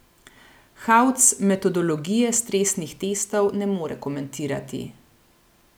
Hauc metodologije stresnih testov ne more komentirati.